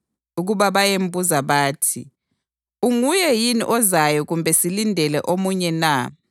ukuba bayembuza bathi, “Unguye yini ozayo kumbe silindele omunye na?”